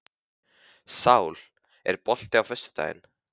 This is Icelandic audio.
Sál, er bolti á föstudaginn?